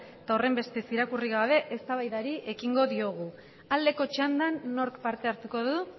eta horrenbestez irakurrik gabe eztabaidari ekingo diogu aldeko txandan nork parte hartuko du